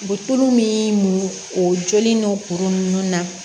U bɛ tulu min muɲu o joli n'o kuru ninnu na